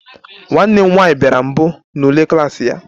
Nwa m nwanyị bịara mbụ n'ule klas ya